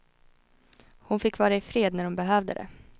Hon fick vara ifred när hon behövde det.